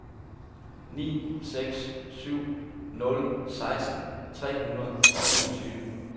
ni seks syv nul seksten tre hundrede og enogtyve